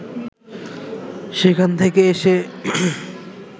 সেখান থেকে এসে